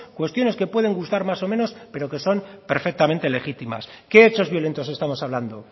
cuestiones que pueden gustar más o menos pero que son perfectamente legítimas qué hechos violentos estamos hablando